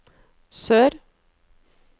sør